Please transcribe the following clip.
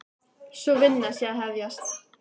Sú vinna sé að hefjast.